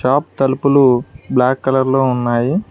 ఆప్ తలుపులు బ్లాక్ కలర్లో ఉన్నాయి.